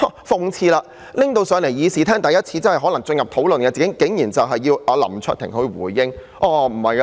諷刺的是，真正在議事廳討論的議案，竟然是要求林卓廷議員回應。